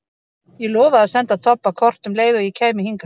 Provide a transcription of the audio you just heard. Ég lofaði að senda Tobba kort um leið og ég kæmi hingað.